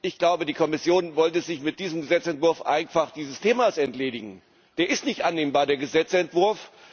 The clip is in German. Ich glaube, die Kommission wollte sich mit diesem Gesetzentwurf einfach dieses Themas entledigen. Der ist nicht annehmbar, der Gesetzentwurf.